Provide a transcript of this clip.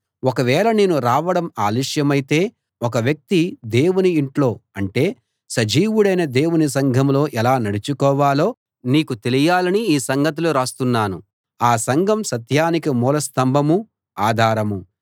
ఒకవేళ నేను రావడం ఆలస్యమైతే ఒక వ్యక్తి దేవుని ఇంట్లో అంటే సజీవుడైన దేవుని సంఘంలో ఎలా నడుచుకోవాలో నీకు తెలియాలని ఈ సంగతులు రాస్తున్నాను ఆ సంఘం సత్యానికి మూల స్తంభమూ ఆధారమూ